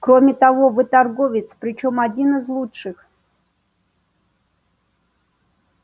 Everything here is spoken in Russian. кроме того вы торговец причём один из лучших